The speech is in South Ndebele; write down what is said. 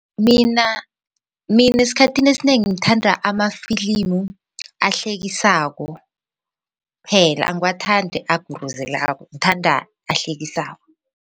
Mina mina esikhathini esinengi ngithanda amafilimu ahlekisako phela angiwathanda aguruzelako ngithanda ehlekisako.